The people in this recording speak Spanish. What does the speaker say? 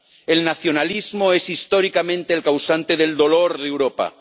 El nacionalismo es históricamente el causante del dolor de Europa.